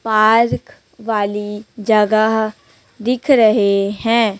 Park वाली जगह दिख रहें हैं।